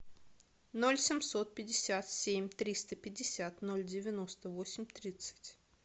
ноль семьсот пятьдесят семь триста пятьдесят ноль девяносто восемь тридцать